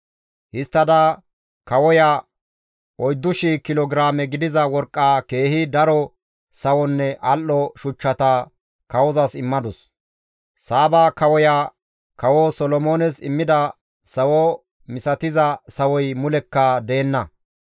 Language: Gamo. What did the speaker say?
Histtada kawoya 4,000 kilo giraame gidiza worqqa, keehi daro sawonne al7o shuchchata kawozas immadus; Saaba kawoya Kawo Solomoones immida sawo misatiza sawoy mulekka deenna.